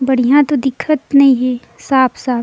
बढ़िया तो दिखत नई हे साफ़-साफ़--